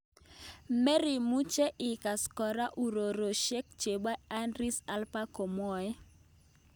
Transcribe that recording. Merimuche ikas kora uroroshek chepo Idris Elba komwae.